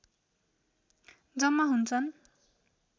जम्मा हुन्छन्